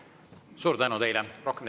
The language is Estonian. Suur tänu teile!